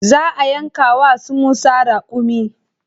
Za a yanka wa su Musa raƙumi.